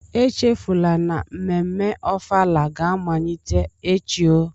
Echefula na mmemme Ofala ga-amalite echi oh.